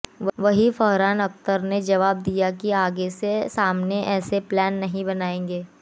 वहीं फरहान अख्तर ने जवाब दिया कि आगे से सामने सामने ऐसे प्लान नहीं बनाएंगे